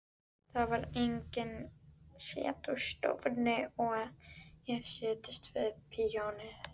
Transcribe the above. Það var enginn í setustofunni og ég settist við píanóið.